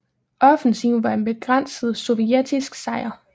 Offensiven var en begrænset sovjetisk sejr